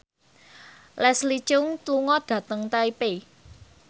Leslie Cheung lunga dhateng Taipei